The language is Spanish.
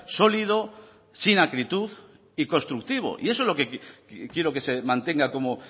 sólido sin acritud y constructivo y eso es lo que quiero que se mantenga como